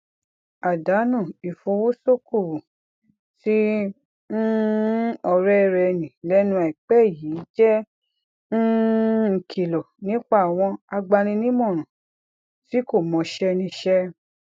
àdánù ifowosokowo tí um òré rè ní lénu àìpé yìí jé um ìkìlò nípa àwọn agbaninímòràn tí kò mọṣé níṣé